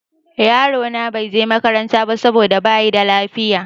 Yaro na bai je makaranta ba saboda bayi da lafiya.